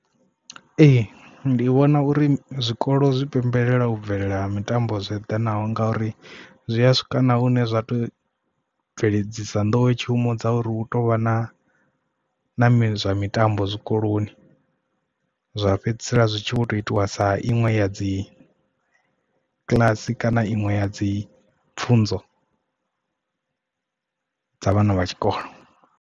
Ee ndi vhona uri zwikolo zwi pembelela u bvelela ha mitambo zwo eḓanaho nga uri zwi a swika na hune zwa to bveledzisa nḓowetshumo dza uri hu tovha na na mi zwa mitambo zwikoloni zwa fhedzisela zwitshi vho to itiwa sa iṅwe ya dzi kiḽasi kana iṅwe ya dzi pfhunzo dza vhana vha tshikolo.